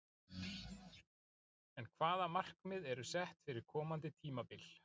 En hvaða markmið eru sett fyrir komandi tímabil?